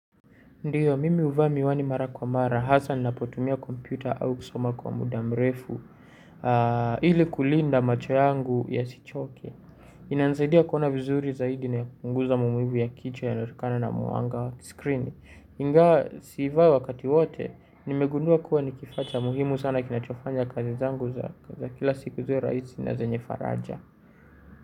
Ndiyo, mimi huvaa miwani mara kwa mara, hasa ninapotumia kompyuta au kusoma kwa muda mrefu ili kulinda macho yangu ya sichoke. Inanisaidia kuona vizuri zaidi na kupunguza maumivu ya kichwa yanayo tokana na mwanga skrini. Ingawa, sivai wakati wote, nimegundua kuwa nikifaa cha muhimu sana kinachofanya kazi zangu za kila siku ziwe rahisi na zenye faraja.